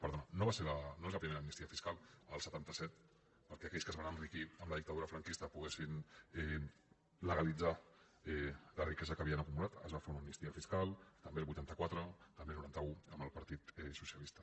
perdona no és la primera amnistia fiscal el setanta set perquè aquells que es van enriquir amb la dictadura franquista poguessin legalitzar la riquesa que havien acumulat es va fer una amnistia fiscal també el vuitanta quatre també el noranta un amb el partit socialista